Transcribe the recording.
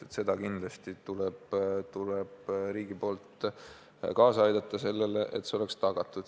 Riik peab kindlasti kaasa aitama, et see oleks tagatud.